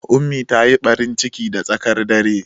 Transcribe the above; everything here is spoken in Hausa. Ummi ta yi ɓarin ciki da tsaƙan dare